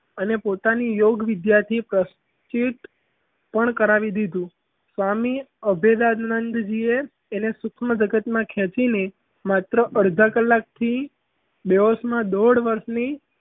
અને પોતાની યોગ વિદ્યાર્થી પ્રચલિત પણ કરાવી લીધું સ્વામી અભિદાનંદ જીએ તેને સૂક્ષ્મ જગતમાં ખેંચીને માત્ર અડધા કલાકથી દિવસ માં દોઢ વર્ષથી